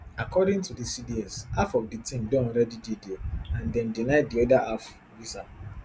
according to di cds half of di team don already dey dia and dem deny di oda half visa